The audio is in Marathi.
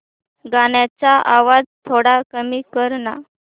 गाण्याचा आवाज थोडा कमी कर ना